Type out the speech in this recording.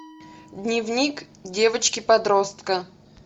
дневник девочки подростка